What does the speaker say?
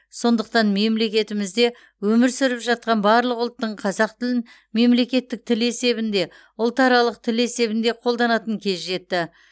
сондықтан мемлекетімізде өмір сүріп жатқан барлық ұлттың қазақ тілін мемлекеттік тіл есебінде ұлтаралық тіл есебінде қолданатын кезі жетті